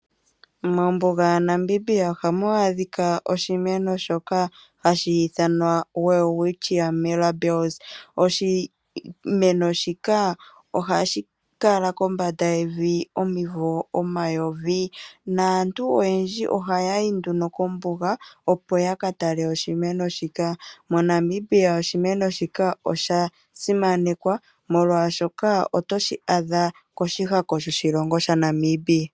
Mombuga yaNamib ohamu adhika oshimeno shoka hashi ithanwa welwitchia mirabillis. Oshimeno shika ohashi kala kombanda yevi omivo omayovi naantu oyendji ohaya yi nduno kombuga, opo ya ka tale oshimeno shika. MoNamibia oshimeno shika osha simanekwa, molwashoka oto shi adha koshihako shoshilongo shaNamibia.